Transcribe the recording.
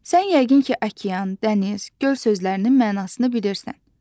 Sən yəqin ki, okean, dəniz, göl sözlərinin mənasını bilirsən.